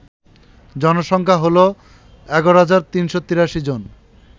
জনসংখ্যা হল ১১৩৮৩ জন